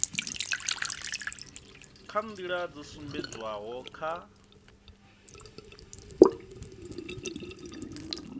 kha nḓila dzo sumbedzwaho kha